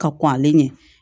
Ka kɔn ale ɲɛ